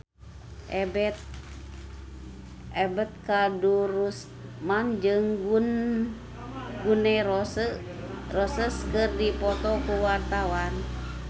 Ebet Kadarusman jeung Gun N Roses keur dipoto ku wartawan